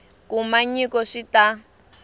kuma nyiko swi ta n